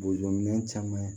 Bozominɛn caman